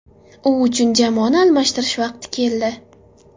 U uchun jamoani almashtirish vaqti keldi.